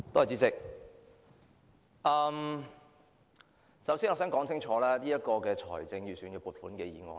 主席，首先，我們該如何看這份財政預算案？